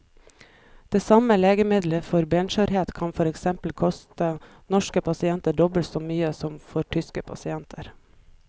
Det samme legemiddelet for benskjørhet kan for eksempel koste norske pasienter dobbelt så mye som for tyske pasienter.